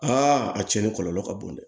a cɛnni kɔlɔlɔ ka bon dɛ